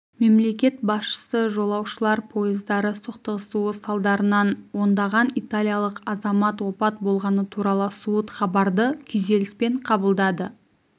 мемлекет басшысы жолаушылар пойыздары соқтығысуы салдарынан ондаған италиялық азамат опат болғаны туралы суыт хабарды күйзеліспен қабылдады